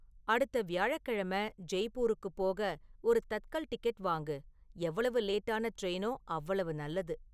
அடுத்த வியாழக்கிழமை ஜெய்ப்பூருக்குப் போக ஒரு தத்கல் டிக்கெட் வாங்கு எவ்வளவு லேட்டான ட்ரெயினோ அவ்வளவு நல்லது